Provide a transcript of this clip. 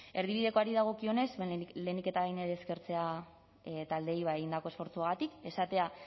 eredibidekoari dagokionez lehenik eta behin eskertzea taldeei egindako esfortzuagatik esatea